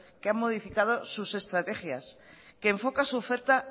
que han modificado sus estrategias que enfoca su oferta